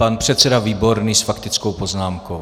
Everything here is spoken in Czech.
Pan předseda Výborný s faktickou poznámkou.